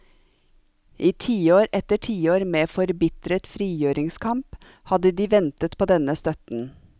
I tiår etter tiår med forbitret frigjøringskamp hadde de ventet på denne støtten.